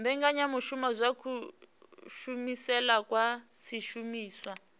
mbekanyamushumo dza kushumisele kwa zwishumiswa